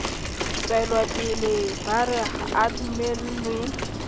tswelopele ba re a dumellwe